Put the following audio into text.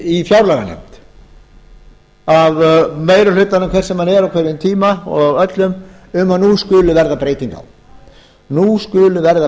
í fjárlaganefnd að meiri hlutanum hver sem hann er á hverjum tíma og öllum um að nú skuli verða breyting á